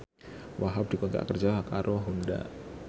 Wahhab dikontrak kerja karo Honda